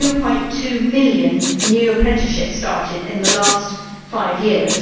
2.2 million new apprenticeships started in the last five years.